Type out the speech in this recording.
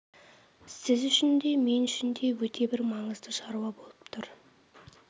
сіз үшін де мен үшін де өте бір маңызды шаруа болып тұр